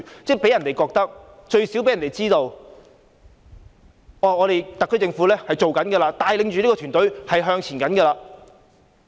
這樣一來，市民最少會知道特區政府正在做事，帶領着團隊向前行。